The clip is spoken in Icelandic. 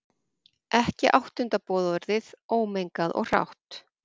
Ekki áttunda boðorðið, ómengað og hrátt.